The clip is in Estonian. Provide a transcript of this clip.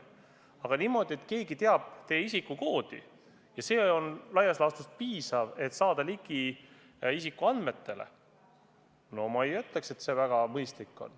Aga teha niimoodi, et keegi teab teie isikukoodi ja sellest laias laastus piisab, et saada ligi teie isikuandmetele – no ma ei ütleks, et see on väga mõistlik.